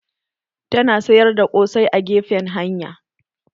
Tana sayar da ƙosai a gefen hanya